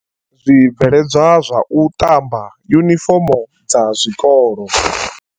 Zwibveledzwa zwa u ṱamba yunifomo dza zwikolo.